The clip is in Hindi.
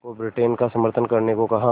को ब्रिटेन का समर्थन करने को कहा